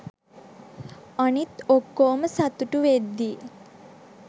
අනිත් ඔක්කොම සතුටු වෙත්දී